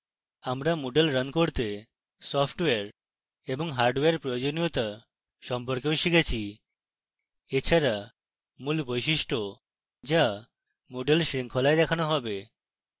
আমরা moodle running করতে software এবং হার্ডওয়্যার প্রয়োজনীয়তা সম্পর্কেও শিখেছি এছাড়া